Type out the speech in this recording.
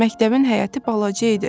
Məktəbin həyəti balaca idi.